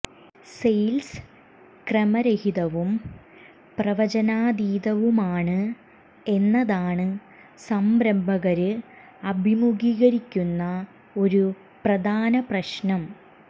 sales ക്രമരഹിതവും പ്രവചനാതീതവുമാണ് എന്നതാണ് സംരംഭകര് അഭിമുഖീകരിക്കുന്ന ഒരു പ്രധാന പ്രശ്നം